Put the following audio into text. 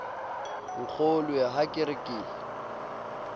nkgolwe ha ke re ke